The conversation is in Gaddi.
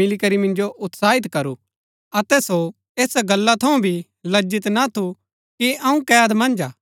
मिलीकरी मिन्जो उत्साहित करू अतै सो ऐसा गल्ला थऊँ भी लज्जित ना थू कि अऊँ कैद मन्ज हा